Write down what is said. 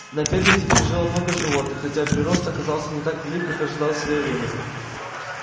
на ферме теперь жило много животных хотя прирост оказался не так велик как ожидалось в своё время